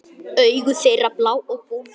Augu þeirra blá og bólgin.